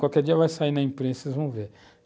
Qualquer dia vai sair na imprensa e vocês vão ver.